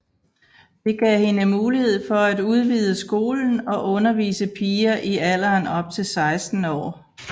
Det gav hende mulighed for at udvide skolen og undervise piger i alderen op til 16 år